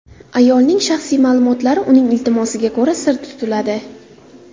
Ayolning shaxsiy ma’lumotlari uning iltimosiga ko‘ra sir tutiladi.